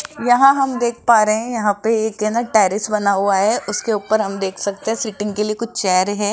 यहां हम देख पा रहे हैं यहां पर एक टेरिस बना हुआ है उसके ऊपर हम देख सकते हैं सिटिंग के लिए कुछ चेयर है।